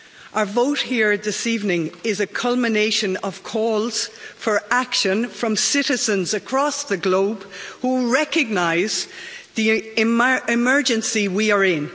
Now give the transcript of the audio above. Our vote here this evening is a culmination of calls for action from citizens across the globe who recognise the emergency we are in.